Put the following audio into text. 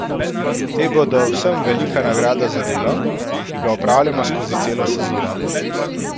Te bodo vsem velika nagrada za delo, ki ga opravljamo skozi celo sezono.